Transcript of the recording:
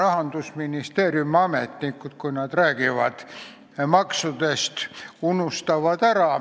Rahandusministeeriumi ametnikud, kui nad maksudest räägivad, enamasti ära unustavad.